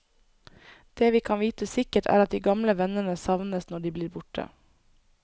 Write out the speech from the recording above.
Det vi kan vite sikkert, er at de gamle vennene savnes når de blir borte.